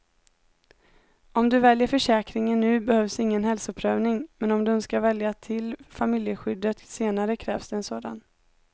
Om du väljer försäkringen nu behövs ingen hälsoprövning, men om du önskar välja till familjeskyddet senare krävs det en sådan.